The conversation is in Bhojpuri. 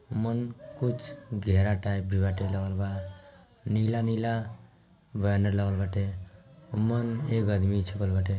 मन कुछ घेरा टाइप भी बाटे लगल बा नीला नीला बैनर लगल बाटे अ मन एगो आदमी छपल बटे।